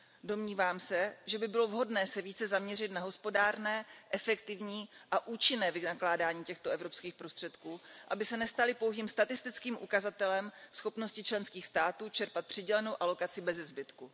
Domnívám se, že by bylo vhodné se více zaměřit na hospodárné, efektivní a účinné vynakládání těchto evropských prostředků, aby se nestaly pouhým statistickým ukazatelem schopnosti členských států čerpat přidělenou alokaci beze zbytku.